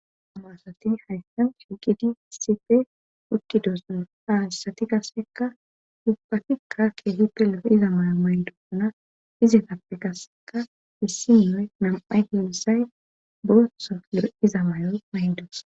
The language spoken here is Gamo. Amaasati hayssan chiqidi sipe wutkidoos maaaa issati kasseka yubbatikka keehipe le'iza mayo mayndona izetappe kasseka missinoe nam'ay dimisay boso leo'iza mayo mayndos